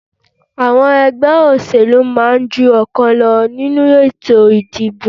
Àwọn ẹgbẹ́ òṣẹ̀lú máa ń ju ọ̀kan lọ nínú ètò ìdìbò